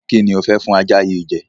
Kí ni ò fẹ́ fún ajá yìí jẹ?